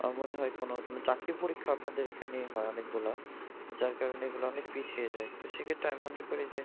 আমার মনে হয় কোনও চাকরির পরীক্ষা আপনাদের এখানে হয় অনেকগুলা। যার কারণে এগুলা অনেক পিছিয়ে যায়। তো সেক্ষেত্রে আমি মনে করি যে